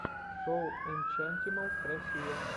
шоу энчантималс россия